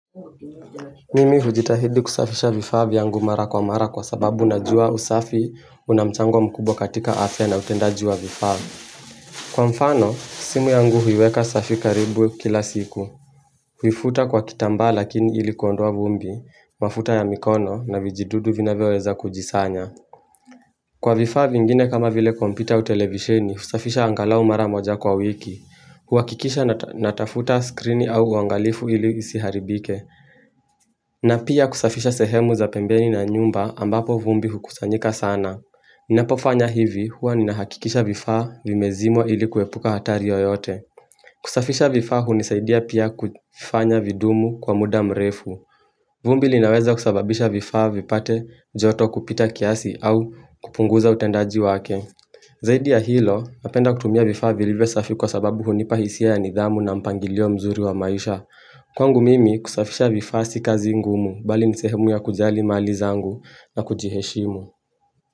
Mimi hujitahidi kusafisha vifaa vyangu mara kwa mara kwa sababu najua usafi una mchango mkubwa katika afia na utendaji wa vifaa Kwa mfano simu yangu huiweka safi karibu kila siku Huifuta kwa kitambaa lakini ili kuondoa vumbi mafuta ya mikono na vijidudu vinavyoweza kujisanya Kwa vifaa vingine kama vile kompyuta au televisheni, husafisha angalau mara moja kwa wiki. Huhakikisha natafuta skrini au uangalifu ili isiharibike. Na pia kusafisha sehemu za pembeni na nyumba ambapo vumbi hukusanyika sana. Ninapofanya hivi huwa ninahakikisha vifaa vime zimwa ili kuepuka hatari oyote. Kusafisha vifaa hunisaidia pia kufanya vidumu kwa muda mrefu. Vumbi linaweza kusababisha vifaa vipate joto kupita kiasi au kupunguza utendaji wake. Zaidi ya hilo, napenda kutumia vifaa vilivyo safi kwa sababu hunipa hisia ya nidhamu na mpangilio mzuri wa maisha. Kwangu mimi kusafisha vifaa sii kazi ngumu bali ni sehemu ya kujali mali zangu na kujiheshimu.